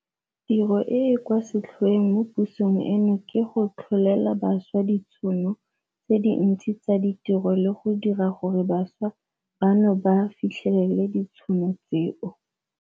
Tiro e e kwa setlhoeng mo pusong eno ke go tlholela bašwa ditšhono tse dintsi tsa ditiro le go dira gore bašwa bano ba fitlhelele ditšhono tseo.